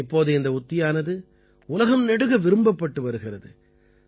இப்போது இந்த உத்தியானது உலகம் நெடுக விரும்பப்பட்டு வருகிறது